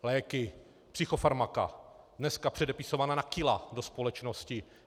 Léky, psychofarmaka, dneska předepisovaná na kila do společnosti.